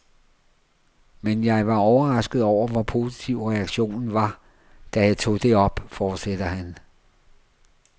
Men jeg var overrasket over hvor positiv reaktionen var, da jeg tog det op, fortsætter han.